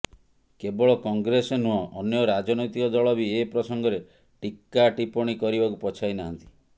କେବଳ କଂଗ୍ରେସ ନୁହଁ ଅନ୍ୟ ରାଜନୈତିକ ଦଳ ବି ଏ ପ୍ରସଙ୍ଗରେ ଟିକ୍କା ଟୀପଣୀ କରିବାକୁ ପଛାଇ ନାହାନ୍ତି